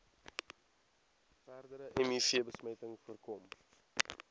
verdere mivbesmetting voorkom